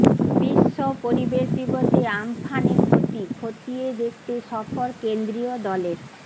বিশ্বপরিবেশ দিবসে আমফানে ক্ষতি খতিয়ে দেখতে সফর কেন্দ্রীয় দলের